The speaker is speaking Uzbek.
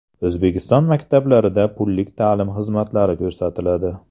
O‘zbekiston maktablarida pullik ta’lim xizmatlari ko‘rsatiladi.